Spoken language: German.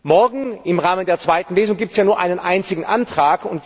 Morgen, im Rahmen der zweiten Lesung, gibt es ja nur einen einzigen Antrag.